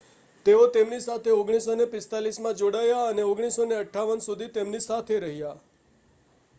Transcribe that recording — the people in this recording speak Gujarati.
તેઓ તેમની સાથે 1945માં જોડાયા અને 1958 સુધી તેમની સાથે રહ્યા